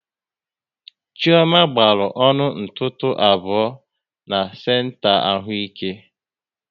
Chioma gbaru ọnụ ntụtụ abụọ na senta ahụike